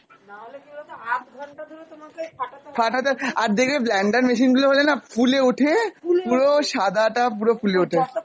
ফাটাতে, আর দেখবে blander machine গুলো হলেনা ফুলে ওঠে, পুরো সাদাটা পুরো ফুলে ওঠে।